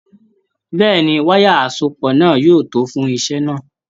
Bẹ́ẹ̀ni, wayà asopọ náà yóò tó fún iṣẹ náà.